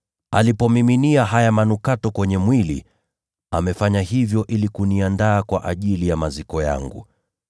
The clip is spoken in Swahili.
Alipomiminia haya manukato kwenye mwili wangu, amefanya hivyo ili kuniandaa kwa ajili ya maziko yangu.